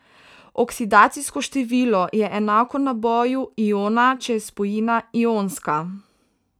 Oksidacijsko število je enako naboju iona, če je spojina ionska.